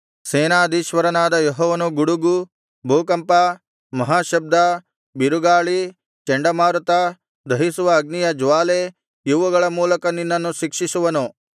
ಸೇನಾಧೀಶ್ವರನಾದ ಯೆಹೋವನು ಗುಡುಗು ಭೂಕಂಪ ಮಹಾಶಬ್ದ ಬಿರುಗಾಳಿ ಚಂಡಮಾರುತ ದಹಿಸುವ ಅಗ್ನಿಯ ಜ್ವಾಲೆ ಇವುಗಳ ಮೂಲಕ ನಿನ್ನನ್ನು ಶಿಕ್ಷಿಸುವನು